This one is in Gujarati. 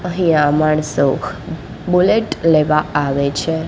અહીંયા માણસો બુલેટ લેવા આવે છે.